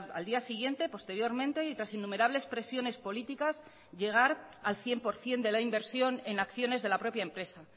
al día siguiente posteriormente y tras innumerables presiones políticas llegar al cien por ciento de la inversión en acciones de la propia empresa